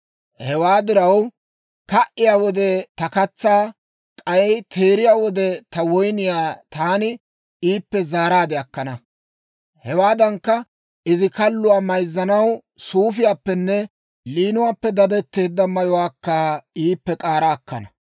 Hewaa diraw, ka"iyaa wode ta katsaa, k'ay teeriyaa wode ta woyniyaa taani iippe zaaraade akkana. Hewaadankka, izi kalluwaa mayzzanaw, suufiyaappenne liinuwaappe dadetteedda mayuwaakka iippe k'aara akkana.